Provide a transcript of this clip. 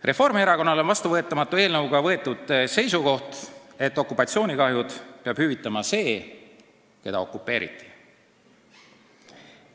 Reformierakonnale on vastuvõetamatu eelnõus kajastuv seisukoht, et okupatsioonikahjud peab hüvitama riik, keda okupeeriti.